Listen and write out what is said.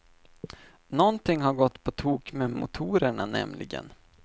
Nånting har gått på tok med motorerna nämligen.